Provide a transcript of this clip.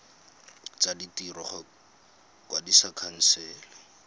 tsa ditiro go kwadisa khansele